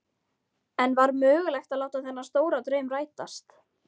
En var mögulegt að láta þennan stóra draum rætast?